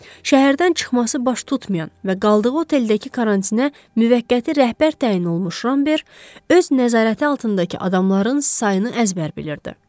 Şəhərdən çıxması baş tutmayan və qaldığı oteldəki karantinə müvəqqəti rəhbər təyin olunmuş Ramber öz nəzarəti altındakı adamların sayını əzbər bilirdi.